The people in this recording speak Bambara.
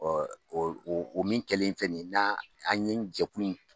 o o o min kɛlen filɛ nin ye nan an ye jɛkulu in